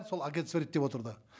сол агентство реттеп отырды